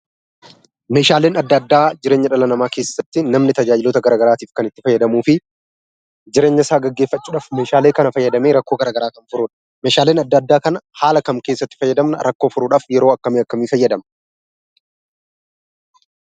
Meeshaaleen adda addaa jireenya dhala namaa keessatti namni taajajiloota garagaraattif kan itti faayyadaamuufi jireenya isaa geggeeffachudhaaf meeshaalee kana faayyadaame rakkoo garaagaraa Kan furudha. meeshaaleen garaagaraa kana haal kam keessatti faayyadaamna, rakkoo furudhaaf yeroo akkami akkamii Isa jedhamu?